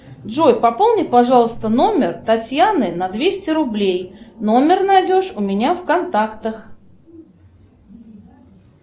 джой пополни пожалуйста номер татьяны на двести рублей номер найдешь у меня в контактах